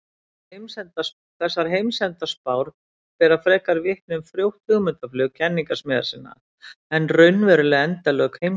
Þessar heimsendaspár bera frekar vitni um frjótt hugmyndaflug kenningasmiða sinna en raunveruleg endalok heimsins.